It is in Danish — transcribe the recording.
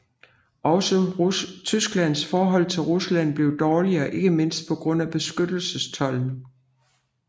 Også Tysklands forhold til Rusland blev dårligere ikke mindst på grund af beskyttelsestolden